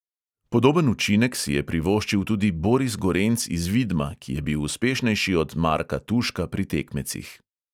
Podoben učinek si je privoščil tudi boris gorenc iz vidma, ki je bil uspešnejši od marka tuška pri tekmecih.